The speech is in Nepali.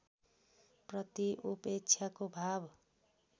प्रति उपेक्षाको भाव